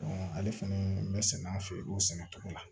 ale fɛnɛ bɛ sɛnɛ an fɛ o sɛnɛ cogo la